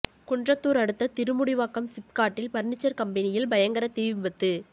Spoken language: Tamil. குன்றத்தூர் அடுத்த திருமுடிவாக்கம் சிப்காட்டில் பர்னிச்சர் கம்பெனியில் பயங்கர தீ விபத்து